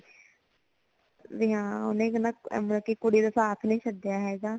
ਬਈ ਹਾਂ ਓਹਨੇ ਕੀ ਨਾ ਬਲਕੀ ਕੁੜੀ ਦਾ ਸਾਥ ਨਹੀਂ ਛਡੀਆ ਹੇਗਾ